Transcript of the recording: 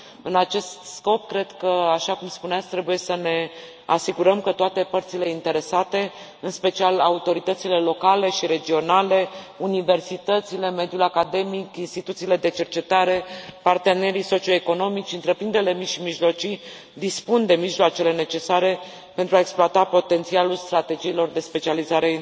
În acest scop, cred că, așa cum spuneați, trebuie să ne asigurăm că toate părțile interesate, în special autoritățile locale și regionale, universitățile, mediul academic, instituțiile de cercetare, partenerii socio economici, întreprinderile mici și mijlocii, dispun de mijloacele necesare pentru a exploata potențialul strategiilor de specializare